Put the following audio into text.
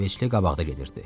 İsveçli qabaqda gedirdi.